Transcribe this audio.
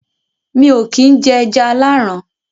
mi ò kín jẹ “ẹja aláàrán”